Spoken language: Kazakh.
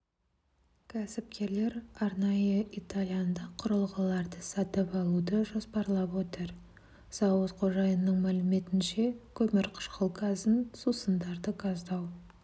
кәсіпкерлер арнайы итальяндық құрылғыларды сатып алуды жоспарлап отыр зауыт қожайынының мәліметінше көмірқышқыл газын сусындарды газдау